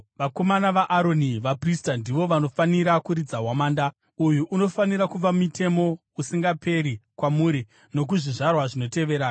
“Vanakomana vaAroni, vaprista ndivo vanofanira kuridza hwamanda. Uyu unofanira kuva mitemo usingaperi kwamuri nokuzvizvarwa zvinotevera.